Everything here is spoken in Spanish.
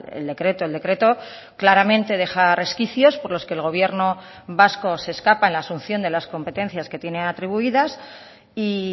el decreto el decreto claramente deja resquicios por los que el gobierno vasco se escapa en la asunción de las competencias que tiene atribuidas y